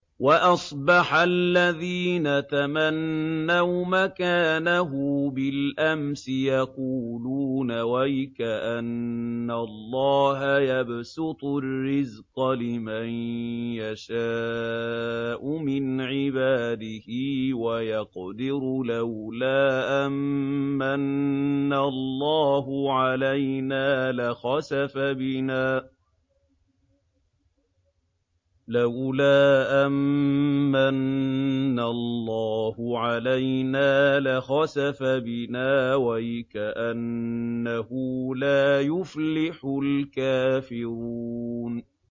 وَأَصْبَحَ الَّذِينَ تَمَنَّوْا مَكَانَهُ بِالْأَمْسِ يَقُولُونَ وَيْكَأَنَّ اللَّهَ يَبْسُطُ الرِّزْقَ لِمَن يَشَاءُ مِنْ عِبَادِهِ وَيَقْدِرُ ۖ لَوْلَا أَن مَّنَّ اللَّهُ عَلَيْنَا لَخَسَفَ بِنَا ۖ وَيْكَأَنَّهُ لَا يُفْلِحُ الْكَافِرُونَ